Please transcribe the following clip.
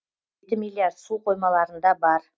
жеті миллиард су қоймаларында бар